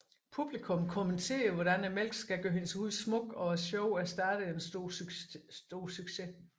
Publikum kommenterer hvordan mælken skal gøre hendes hud smuk og showet er en stor succes